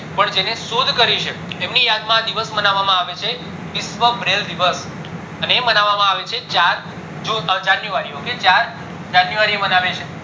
પણ જેને શોધ કરી છે એમની યાદ માં આ દિવસ માનવામાં આવે છે વિશ્વ braille દિવસ અને એ માનવામાં આવે છે ચાર june january એ મનાવે છે